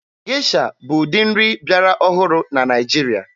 Gesha bụ ụdị nri bịara ọhụrụ na Naịjirịa.